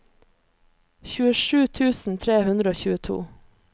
tjuesju tusen tre hundre og tjueto